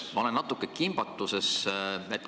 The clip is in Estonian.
Ma olen natuke kimbatuses.